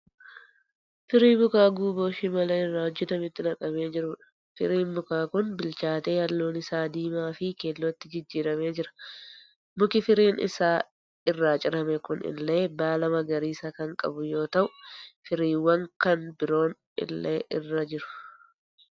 Firii mukaa guuboo shimala irraa hojjetametti naqamee jiruudha. Firiin mukaa kun bilchaatee halluun isaa diimaa fi keellootti jijjiiramee jira. Muki firiin isaa irraa cirame kun illee baala magariisa kan qabu yoo ta'u firiiwwan kan biroon illee irra jiru.